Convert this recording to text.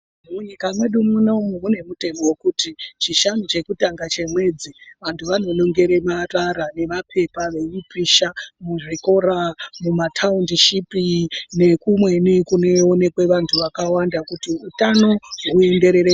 Munyika mwedu munomu mune mutemo vekuti chishanu chekutanga chemwedzi. Vantu anonongere marara nemapepa veipisha muzvikora. mumataundishipi nekumweni kuneonekwe vantu vakwanda kuti utano huenderere mberi.